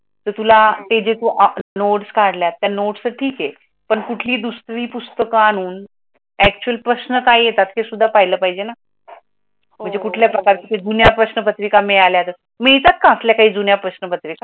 तर तुला, तेजे तू नोट्स काडल्यात नोट्स तर ठीक आहे पण कुठली दुसरी पुस्तक आणून प्राशन काय येतात ते सुद्धा पाहिले पाहिजे ना म्हणजे कुठल्या प्रकारचे जुन्या प्रश्नपत्रिका मिळाल्या, मिळतात काय आपल्या येथे जुन्या प्रश्नपत्रिका?